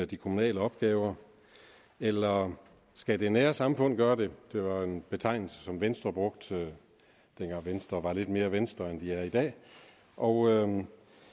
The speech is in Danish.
de kommunale opgaver eller skal det nære samfund gøre det det var en betegnelse som venstre brugte dengang venstre var lidt mere venstre end de er i dag og